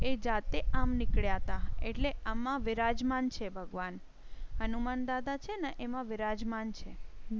એ જાતે આમ નીકળયા હતા એટલે આમાં બિરાજમાન છે ભગવાન. હનુમાન દાદા છે ને એ માં બિરાજમાન છે.